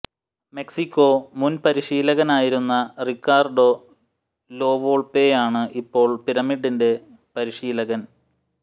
Mexico മുൻ പരിശീലകനായിരുന്ന Ricardo La വോൾപെയാണ് ഇപ്പോൾ പിരമിഡിന്റെ പരിശീലകൻ